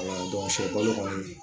sɛ balo kɔni